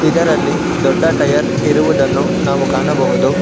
ಇದರಲ್ಲಿ ದೊಡ್ಡ ಟಯರ್ ಇರುವುದನ್ನು ನಾವು ಕಾಣಬಹುದು.